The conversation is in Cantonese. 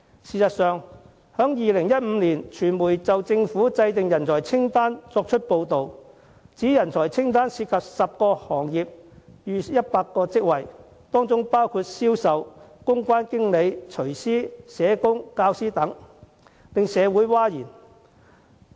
事實上，傳媒早在2015年已報道，有關人才清單涉及10個行業逾100個工種，當中包括銷售、公關經理、廚師、社工和教師等，當時令社會譁然。